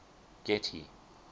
getty